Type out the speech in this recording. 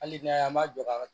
Hali n'a y'an m'a jɔ ka